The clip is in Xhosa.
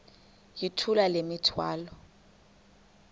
yithula le mithwalo